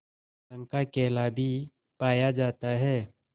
रंग का केला भी पाया जाता है